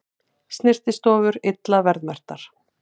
Snyrtistofur illa verðmerktar